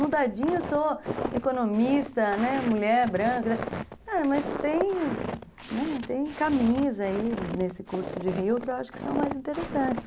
No dadinho eu sou economista, né, mulher branca, mas tem caminhos aí nesse curso de Rio que eu acho que são mais interessantes.